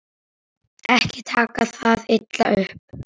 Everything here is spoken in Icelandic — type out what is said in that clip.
Ekki taka það illa upp.